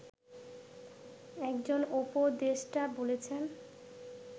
একজন উপদেষ্টা বলেছেন